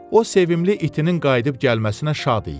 O sevimli itinin qayıdıb gəlməsinə şad idi.